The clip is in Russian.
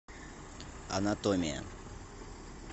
анатомия